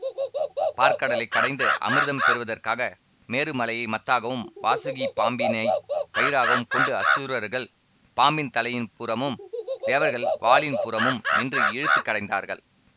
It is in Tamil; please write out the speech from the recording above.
பாற்கடலை கடைந்து அமிர்தம் பெறுவதற்காக மேரு மலையை மத்தாகவும் வாசுகி பாம்பினை கயிறாகவும் கொண்டு அசுரர்கள் பாம்பின் தலையின்புறமும் தேவர்கள் வாலின் புறமும் நின்று இழுத்து கடைந்தார்கள்